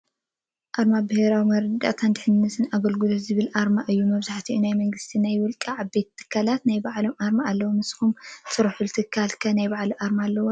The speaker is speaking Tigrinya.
ኣርማ ብሄራዊ መርዳእታ ድሕንነት ኣግልግሎት ዝብል ኣርማ እዩ መብዛሕቲ ናይ መንግስትን ናይ ወልቀ ዓበይቲ ትካላት ናይ ባዕለን ኣርማ ኣለወን ::ንስኩም ትሰርሕሉ ትካል ከ ናይ ባዕላ ኣርማ ኣለዎ ዶ ?